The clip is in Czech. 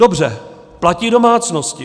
Dobře, platí domácnosti.